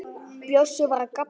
Bjössi var að gabba.